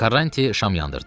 Karanç şam yandırdı.